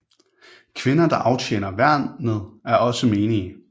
Kvinder der aftjener værneret er også menige